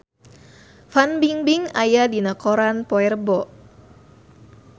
Fan Bingbing aya dina koran poe Rebo